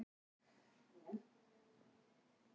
Akureyri hafði betur